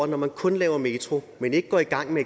når man kun laver metro men ikke går i gang med